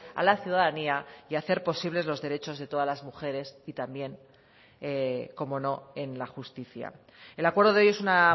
a la ciudadanía y hacer posibles los derechos de todas las mujeres y también cómo no en la justicia el acuerdo de hoy es una